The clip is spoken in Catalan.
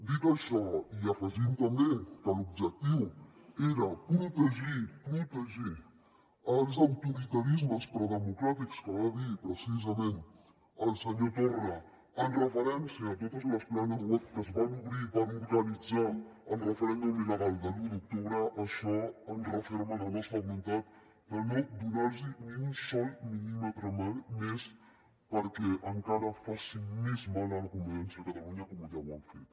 dit això i afegint també que l’objectiu era protegir protegir els autoritarismes predemocràtics que va dir precisament el senyor torra en referència a totes les planes web que es van obrir per organitzar el referèndum il·legal de l’u d’octubre això ens referma en la nostra voluntat de no donar los ni un sol mil·límetre més perquè encara facin més mal a la convivència a catalunya com ja ho han fet